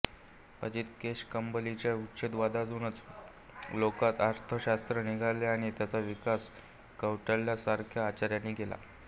अजित केशकंबलीच्या उच्छेदवादातूनच लोकायत अर्थशास्त्र निघाले आणि त्याचा विकास कौटिल्यासारख्या आचार्यांनी केला